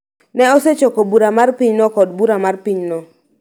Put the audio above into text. ne osechoko bura mar pinyno kod bura mar pinyno